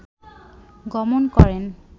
গমন করেন